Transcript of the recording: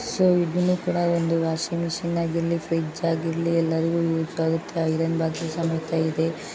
Friends ಇದನ್ನು ಕೂಡ ಒಂದು ವಾಷಿಂಗ್ ಮಿಷನ್ ಆಗಿರಲಿ ಫ್ರಿಡ್ಜ್ ಆಗಿರಲಿ ಎಲ್ಲರಿಗೂ ಯೂಸ್ ಆಗುತ್ತೆ ಐರನ್ ಬಾಕ್ಸ್ ಸಮೇತ ಇದೆ.